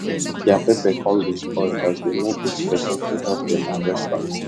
dia pepper come dey spoil as them no get person to help them harvest am